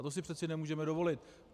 A to si přece nemůžeme dovolit.